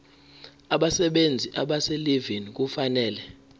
abasebenzi abaselivini kufanele